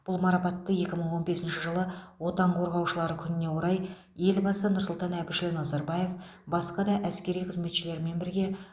бұл марапатты екі мың он бесінші жылы отан қорғаушылар күніне орай елбасы нұрсұлтан әбішұлы назарбаев басқа да әскери қызметшілермен бірге